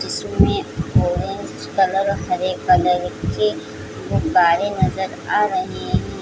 जिसमें orange colour हरे colour के गुब्बारे नज़र आ रहें हें ।